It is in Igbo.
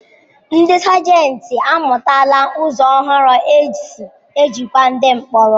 Ndi Sajenti amụtala ụzọ ọhụrụ e si ejikwa ndi mkpọrọ.